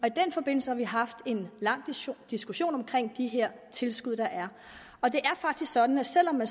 i den forbindelse har vi haft en lang diskussion om de her tilskud der er og det er faktisk sådan at selv om man